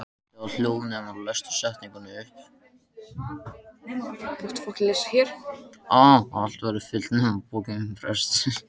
Allt verður fyllt nema pokinn prestsins.